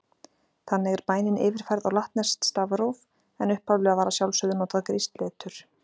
Þannig er bænin yfirfærð á latneskt stafróf, en upphaflega var að sjálfsögðu notað grískt letur: